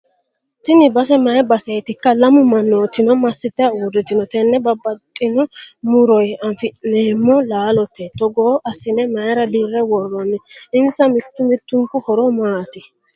Tini base mayii baseetikka? Lamu mannootino massitayi uurritino? Tenne babbaxino muroyi afi'neemmo laalo togo assinne mayiira dirre worroonni? Insa mittu mittunku horo maati?